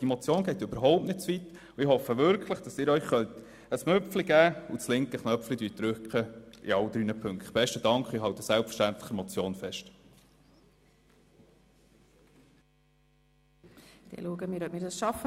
Die Motion geht also überhaupt nicht zu weit, und ich hoffe, dass Sie bei allen drei Punkten den grünen Knopf drücken.